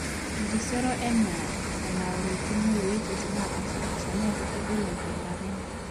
merisoiro enaa enaworikino wuejitin neepaashipaasha neeku kegol enking'urata enye